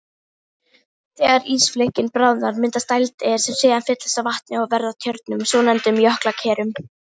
Þegar ísflikkin bráðna myndast dældir sem síðan fyllast vatni og verða að tjörnum, svonefndum jökulkerum.